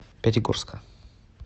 пятигорска